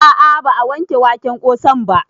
A'a ba a wanke waken ƙosan ba